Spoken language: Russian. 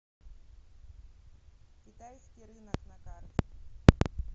китайский рынок на карте